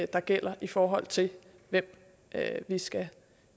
der gælder i forhold til hvem vi skal